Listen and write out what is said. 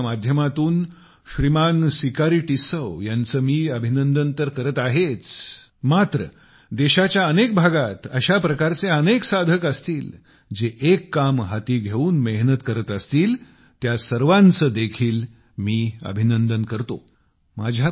मन की बात च्या माध्यमातून सिकारी टिस्सौ यांचे मी अभिनंदन तर करत आहेच मात्र देशाच्या अनेक भागात अशा प्रकारचे अनेक साधक असतील जे एक काम हाती घेऊन मेहनत करत असतील त्या सर्वांचे देखील मी अभिनंदन करतो